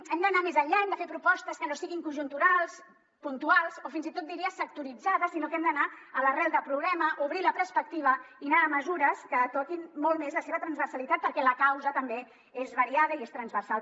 hem d’anar més enllà hem de fer propostes que no siguin conjunturals puntuals o fins i tot diria sectoritzades sinó que hem d’anar a l’arrel del problema obrir la perspectiva i anar a mesures que toquin molt més la seva transversalitat perquè la causa també és variada i és transversal